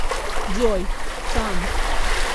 джой сан